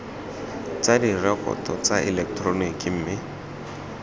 tsa direkoto tsa eleketeroniki mme